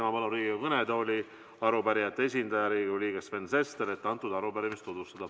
Ma palun Riigikogu kõnetooli arupärijate esindaja, Riigikogu liikme Sven Sesteri, et antud arupärimist tutvustada.